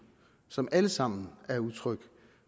som alle sammen er udtryk